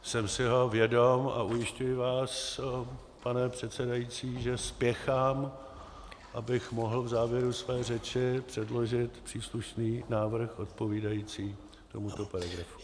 Jsem si ho vědom a ujišťuji vás, pane předsedající, že spěchám, abych mohl v závěru své řeči předložit příslušný návrh odpovídající tomuto paragrafu.